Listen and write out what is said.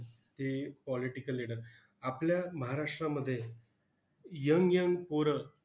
ती political leader. आपल्या महाराष्ट्रामध्ये young young पोरं